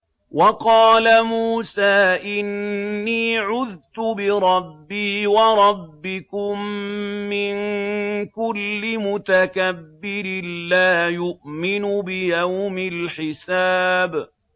وَقَالَ مُوسَىٰ إِنِّي عُذْتُ بِرَبِّي وَرَبِّكُم مِّن كُلِّ مُتَكَبِّرٍ لَّا يُؤْمِنُ بِيَوْمِ الْحِسَابِ